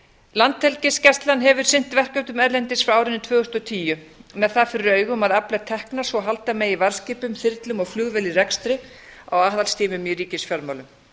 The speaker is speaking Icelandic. landhelgisgæslan hefur sinnt verkefnum erlendis frá árinu tvö þúsund og tíu með það fyrir augum að afla tekna svo halda megi varðskipum þyrlum og flugvél í rekstri á aðhaldstímum í ríkisfjármálum